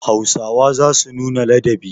Hausawa za su nuna ladabi.